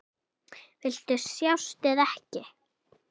Viltu sjást eða ekki?